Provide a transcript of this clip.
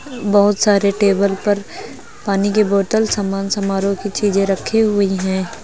बहोत सारे टेबल पर पानी की बॉटल सम्मान समारोह की चीजें रखी हुई हैं।